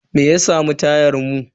Me ya samu tayan mu?